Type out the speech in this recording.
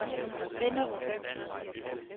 Vinderup